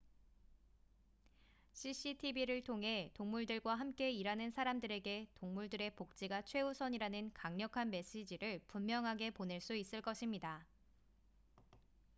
"""cctv를 통해 동물들과 함께 일하는 사람들에게 동물들의 복지가 최우선이라는 강력한 메시지를 분명하게 보낼 수 있을 것입니다.""